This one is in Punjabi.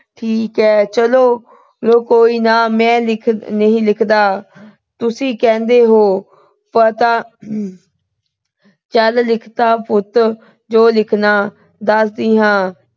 ਠੀਕ ਆ ਚਲੋ ਕੋਈ ਨਾ। ਮੈਂ ਨਹੀਂ ਲਿਖਦਾ। ਤੁਸੀਂ ਕਹਿੰਦੇ ਓ। ਪਤਾ ਚਲ ਲਿਖ ਦੇ ਪੁੱਤ ਜੋ ਲਿਖਣਾ, ਦੱਸਦੀ ਆ।